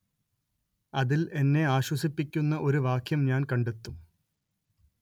അതിൽ എന്നെ ആശ്വസിപ്പിക്കുന്ന ഒരു വാക്യം ഞാൻ കണ്ടെത്തും